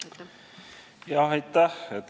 Aitäh!